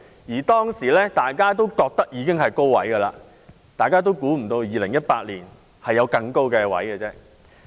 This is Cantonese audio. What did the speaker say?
那時大家都覺得樓價已達到高位，預計不到2018年還會更高。